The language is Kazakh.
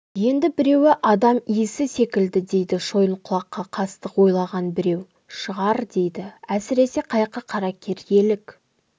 енді біреуі адам иісі секілді дейді шойынқұлаққа қастық ойлаған біреу шығар дейді әсіресе қайқы қаракер елік